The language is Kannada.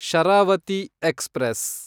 ಶರಾವತಿ ಎಕ್ಸ್‌ಪ್ರೆಸ್